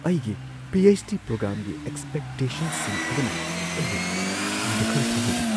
ꯑꯩꯒꯤ P. H. D. ꯄ꯭ꯔꯣꯒ꯭ꯔꯥꯝꯒꯤ ꯑꯦꯛꯁꯄꯦꯛꯇꯦꯁꯟꯁꯤꯡ ꯑꯗꯨꯅ ꯑꯩꯕꯨ ꯀꯤꯕ ꯈꯔ ꯐꯥꯎꯍꯜꯂꯤ ꯫